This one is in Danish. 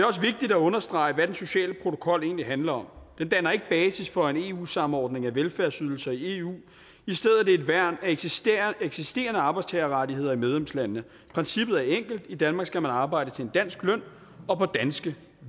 også vigtigt at understrege hvad den sociale protokol egentlig handler om den danner ikke basis for en eu samordning af velfærdsydelser i eu i stedet et værn for eksisterende eksisterende arbejdstagerrettigheder i medlemslandene princippet er enkelt i danmark skal man arbejde til en dansk løn og på danske